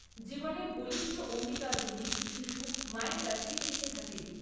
জীবনের বলিষ্ঠ অঙ্গীকারগুলি শিশু মায়ের কাছেই শিখে থাকে।